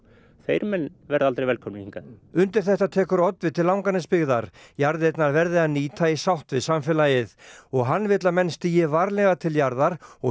þeir menn verða aldrei velkomnir hingað undir þetta tekur oddviti Langanesbyggðar jarðirnar verði að nýta í sátt við samfélagið og hann vill að menn stígi varlega til jarðar og